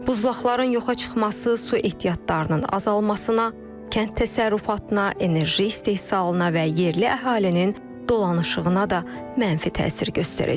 Buzlaqların yoxa çıxması su ehtiyatlarının azalmasına, kənd təsərrüfatına, enerji istehsalına və yerli əhalinin dolanışığına da mənfi təsir göstərəcək.